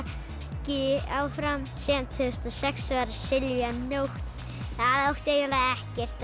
ekki áfram síðan tvö þúsund og sex var Silvía Nótt það átti eiginlega ekkert að